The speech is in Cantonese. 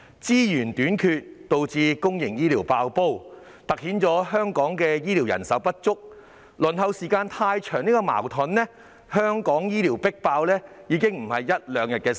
資源短缺導致公營醫療"爆煲"，凸顯了香港醫護人手不足、輪候時間太長的問題，而香港醫療系統"迫爆"已非一兩天的事情。